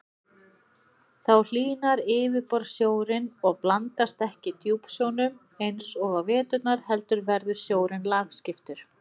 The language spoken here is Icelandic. Þá hlýnar yfirborðssjórinn og blandast ekki djúpsjónum eins og á veturna heldur verður sjórinn lagskiptur.